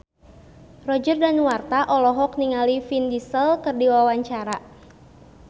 Roger Danuarta olohok ningali Vin Diesel keur diwawancara